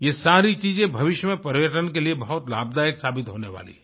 ये सारी चीज़ें भविष्य में पर्यटन के लिए बहुत लाभदायक साबित होने वाली हैं